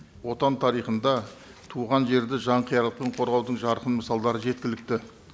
отан тарихында туған жерді жанқиярлықпен қорғаудың жарқын мысалдары жеткілікті